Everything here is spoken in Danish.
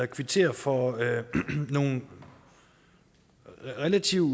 kvittere for nogle relativt